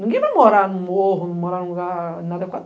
Ninguém vai morar num morro, num lugar inadequado.